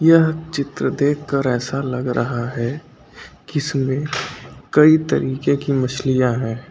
यह चित्र देखकर ऐसा लग रहा है कि इसमें कई तरीके की मछलियां है।